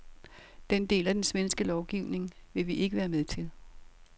Den del af den svenske lovgivning vil vi ikke være med til.